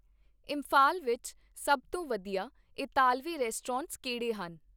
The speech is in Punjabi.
ਇੰਫਾਲ ਵਿੱਚ ਸਭ ਤੋਂ ਵਧੀਆ ਇਤਾਲਵੀ ਰੈਸਟੋਰੈਂਟ ਕਿਹੜੇ ਹਨ?